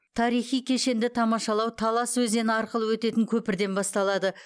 тарихи кешенді тамашалау талас өзені арқылы өтетін көпірден басталады